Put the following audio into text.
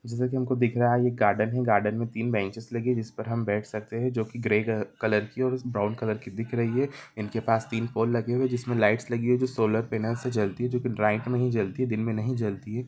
जैसे की हमको दिख रहा है ये गार्डन है गार्डन में तीन बेंचेस लगे जिस पर हम बैठ सकते हैं जो कि ग्रेग कलर की और ब्राउन कलर की दिख रही है इनके पास तीन फ़ोन लगे हुए हैं जिसमें लाइट्स लगी हैं जो सोलर पैनल से चलती है जो कि नाईट जली दिन में नहीं जलती है।